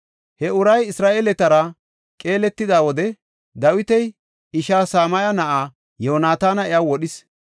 He uray Isra7eeletara qeeletida wode Dawita ishaa Sam7a na7ay Yoonataani iya wodhis.